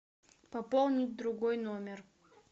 пополнить другой номер